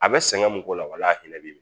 A bɛ sɛgɛn mun k'o la walahinɛ bɛ yen